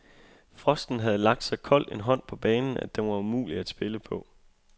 Frosten havde lagt så kold en hånd på banen, at den var umulig at spille på.